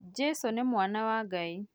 Jesũ nĩ mwana wa Ngai